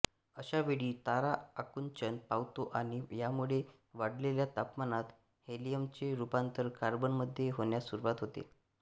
अशा वेळी तारा आकुंचन पावतो आणि यामुळे वाढलेल्या तापमानात हेलियमचे रूपांतर कार्बनमध्ये होण्यास सुरुवात होते